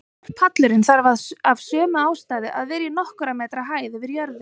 Borpallurinn þarf af sömu ástæðu að vera í nokkurra metra hæð yfir jörðu.